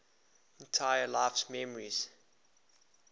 entire life's memories